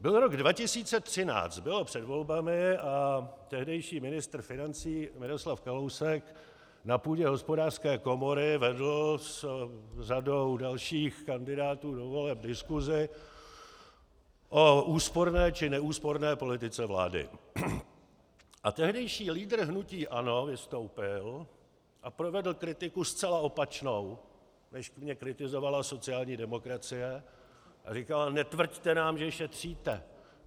Byl rok 2013, bylo před volbami a tehdejší ministr financí Miroslav Kalousek na půdě Hospodářské komory vedl s řadou dalších kandidátů do voleb diskusi o úsporné či neúsporné politice vlády, a tehdejší lídr hnutí ANO vystoupil a provedl kritiku zcela opačnou, než mě kritizovala sociální demokracie, a říkal: Netvrďte nám, že šetříte!